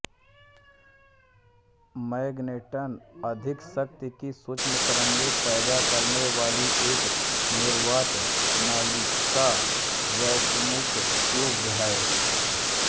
magnetron अधिक शक्ति की सूक्ष्मतरंगें पैदा करने वाली एक निर्वात नलिका वैक्युम ट्यूब है